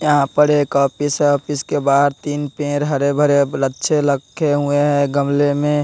यहां पर एक ऑफिस ऑफिस के बाहर तीन पेड़ हरे भरे लच्छे लक्खे हैं गमले में--